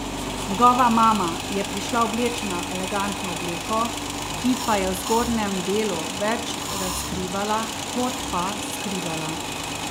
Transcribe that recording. Njegova mama je prišla oblečena v elegantno obleko, ki pa je v zgornjem delu več razkrivala kot pa skrivala.